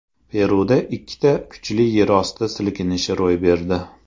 Peruda ikkita kuchli yerosti silkinishi ro‘y berdi.